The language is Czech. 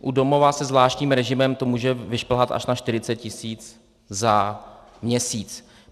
U domova se zvláštním režimem to může vyšplhat až na 40 tisíc za měsíc.